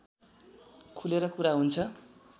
खुलेर कुरा हुन्छ